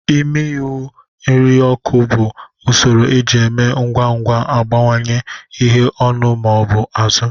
Ịmi ihu nri n'oku bụ usoro eji eme ngwa ngwa agbanwe ihu anụ ma ọ bụ azụ